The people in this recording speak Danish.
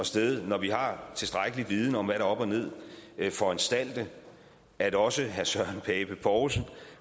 sted når vi har tilstrækkelig viden om er op og ned foranstalte at også herre søren pape poulsen